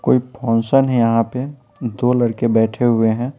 कोई फंशन है यहाँ पे दो लड़के बैठे हुए हैं।